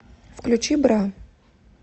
включи бра